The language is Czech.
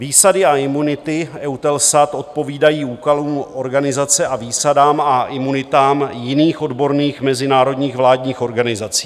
Výsady a imunity EUTELSAT odpovídají úkolům organizace a výsadám a imunitám jiných odborných mezinárodních vládních organizací.